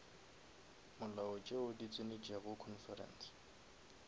molao tšeo di tsenetšego conference